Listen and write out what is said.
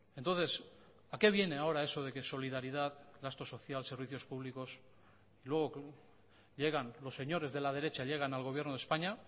entonces a qué viene ahora eso de que solidaridad gasto social servicios públicos y luego llegan los señores de la derecha llegan al gobierno de españa